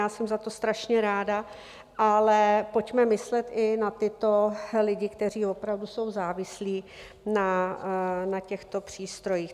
Já jsem za to strašně ráda, ale pojďme myslet i na tyto lidi, kteří opravdu jsou závislí na těchto přístrojích.